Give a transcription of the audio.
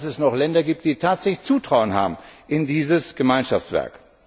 Es zeigt, dass es noch Länder gibt, die tatsächlich Zutrauen haben in dieses Gemeinschaftswerk.